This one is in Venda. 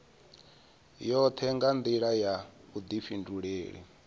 yoṱhe nga nḓila ya vhuḓifhinduleli